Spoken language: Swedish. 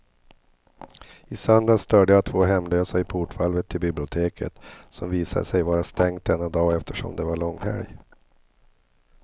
I söndags störde jag två hemlösa i portvalvet till biblioteket, som visade sig vara stängt denna dag eftersom det var långhelg.